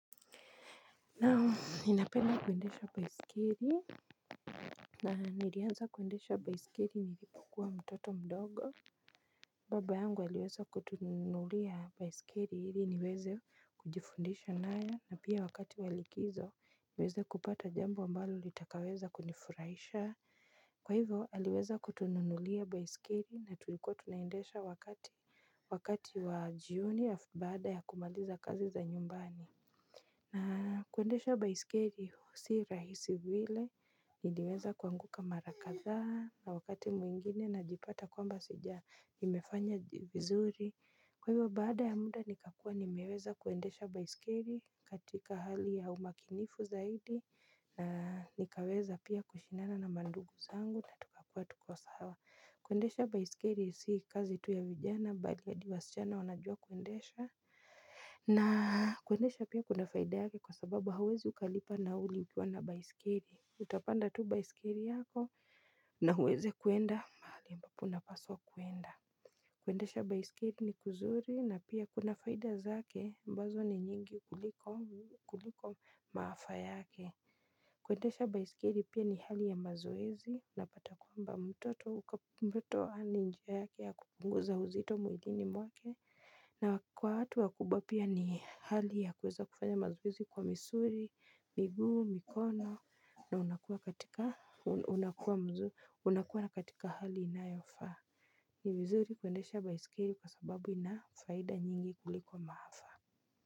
Naam ninapenda kuendesha baiskeli. Na nilianza kwendesha baiskeli nilipokuwa mtoto mdogo. Baba yangu aliweza kutununulia baskeli ili niweze kujifundisha nayo na pia wakati wa likizo niweze kupata jambo mbalo litakaweza kunifurahisha. Kwa hivo aliweza kutununulia baiskeli na tulikuwa tunaendesha wakati wakati wa jioni ya bada ya kumaliza kazi za nyumbani. Na kuendesha baiskeli si rahisi vile, niliweza kuanguka mara kadhaa na wakati mwingine najipata kwamba sija nimefanya vizuri. Kwa hivyo baada ya muda nikakua nimeweza kuendesha baiskeli katika hali ya umakinifu zaidi na nikaweza pia kushindana na mandugu zangu na tukakua tuko sawa. Kuendesha baiskeli si kazi tu ya vijana, bali hadi wasichana wanajua kuendesha. Na kuendesha pia kuna faida yake kwa sababu hauwezi ukalipa nauli ukiwa na baiskeli. Utapanda tu baiskeli yako na uweze kuenda mahali ambapo unapaswa kuenda. Kuendesha baiskeli ni kuzuri na pia kuna faida zake ambazo ni nyingi kuliko maafa yake. Kuendesha baiskeli pia ni hali ya mazoezi unapata kwamba mtoto hana njia yake ya kupunguza uzito mwilini mwake. Na kwa watu wakubwa pia ni hali ya kuweza kufanya mazoe zi kwa misuri, miguu, mikono na unakua unakuwa katika hali inayofaa. Ni vizuri kuendesha baiskeli kwa sababu ina faida nyingi kulikuwa maafa.